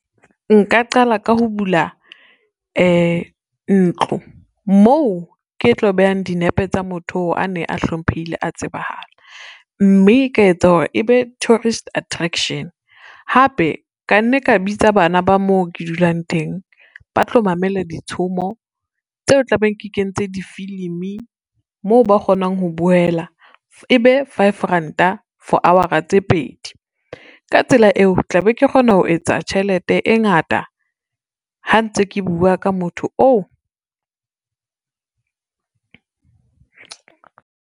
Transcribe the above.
Nka qala ka ho bula, ntlo moo ke tlo behang dinepe tsa motho a ne a hlomphehile a tsebahala, mme nka etsa hore ebe tourist attraction. Hape ka nne ka bitsa bana ba moo ke dulang teng, ba tlo mamela ditshomo tseo tla beng ke kentse difilimi, moo ba kgonang ho bowela, e be five ranta for hour-a tse pedi. Ka tsela eo, tla be ke kgona ho etsa tjhelete e ngata ha ntse ke bua ka motho oo.